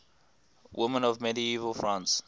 women of medieval france